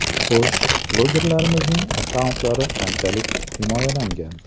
Xo‘sh, blogerlarimizning akkauntlari qanchalik himoyalangan?